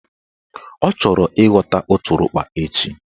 Ọ chọrọ ịghọta ụtụrụkpa echi